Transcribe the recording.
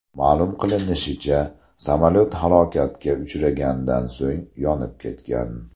Ma’lum qilinishicha, samolyot halokatga uchragandan so‘ng, yonib ketgan.